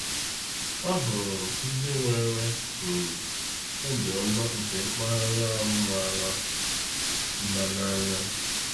A hụrụ m ndị nwere um obiọma nke mpaghara ahụ mara mma n’anya.